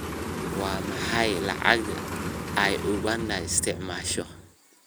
Waa maxay lacag ay Uganda isticmaasho?